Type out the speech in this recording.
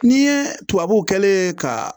N'i ye tubabu kɛ ka